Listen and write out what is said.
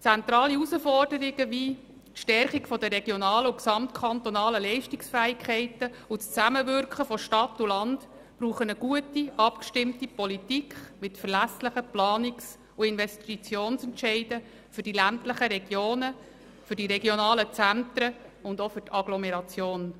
Zentrale Herausforderungen wie die Stärkung der regionalen und kantonalen Leistungsfähigkeit und das Zusammenwirken von Stadt und Land bedürfen einer guten, abgestimmten Politik mit verlässlichen Planungs- und Investitionsentscheiden für die ländlichen Regionen, die regionalen Zentren und auch für die Agglomeration.